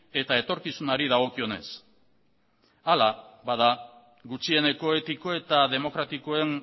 eta etorkizunari dagokionez hala bada gutxieneko etiko eta demokratikoen